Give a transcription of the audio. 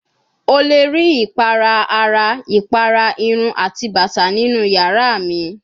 O le ri ipara ara, ipara irun ati bata ninu yara mi